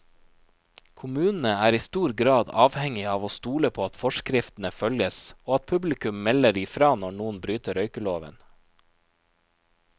Kommunene er i stor grad avhengig av å stole på at forskriftene følges, og at publikum melder ifra når noen bryter røykeloven.